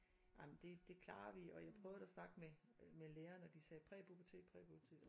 Ej men det det klarer vi og jeg prøvede at snakke med med lærererne og de sagde præpubertet præpubertet